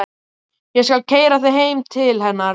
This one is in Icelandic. Ég skal keyra þig heim til hennar.